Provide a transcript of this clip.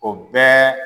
O bɛɛ